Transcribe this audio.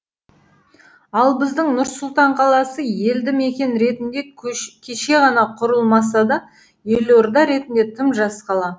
ал біздің нұр сұлтан қаласы елді мекен ретінде кеше ғана құрылмаса да елорда ретінде тым жас қала